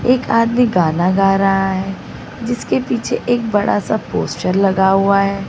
एक आदमी गाना गा रहा है जिसके पीछे एक बड़ा सा पोस्टर लगा हुआ है।